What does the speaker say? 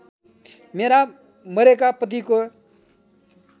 मेरा मरेका पतिको